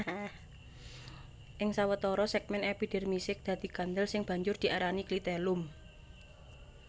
Ing sawatara sègmèn epidermise dadi kandel sing banjur diarani klitellum